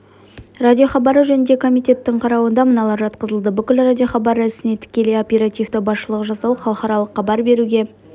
радиохабары жөніндегі комитеттің қарауына мыналар жатқызылды бүкіл радиохабары ісіне тікелей оперативті басшылық жасау халықаралық хабар беруге